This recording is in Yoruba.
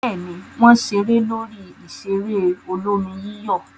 Bẹ́ẹ̀ ni, wọ́n ṣeré lórí ìṣeré olómi-yíyọ̀.